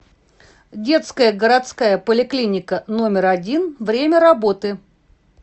детская городская поликлиника номер один время работы